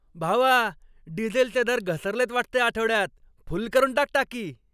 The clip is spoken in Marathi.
भावा, डिझेलचे दर घसरलेत वाटतं या आठवड्यात. फुल करून टाक टाकी.